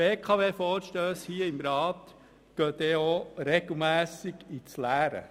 Die Vorstösse zur BKW in diesem Rat laufen regelmässig ins Leere.